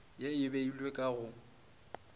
ge e beilwe ka go